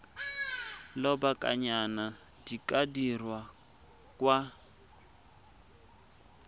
lobakanyana di ka dirwa kwa